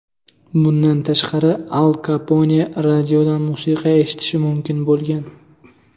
Bundan tashqari Al Kapone radiodan musiqa eshitishi mumkin bo‘lgan.